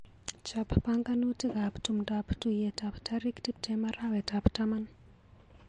Chap panganutikap tumndap tuiyetap tarik tuptem arawetap taman,